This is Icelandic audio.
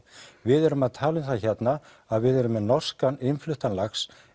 við erum að tala um það hérna að við erum með norskan innfluttan lax